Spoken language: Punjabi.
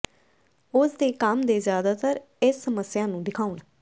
ਉਸ ਦੇ ਕੰਮ ਦੇ ਜ਼ਿਆਦਾਤਰ ਇਸ ਸਮੱਸਿਆ ਨੂੰ ਦਿਖਾਉਣ